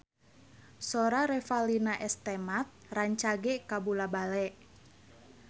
Sora Revalina S. Temat rancage kabula-bale